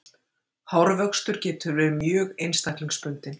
Hárvöxtur getur verið mjög einstaklingsbundinn.